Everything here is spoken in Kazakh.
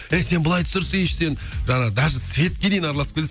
ей сен былай түсірсейші сен жаңағы даже светке дейін араласып кетеді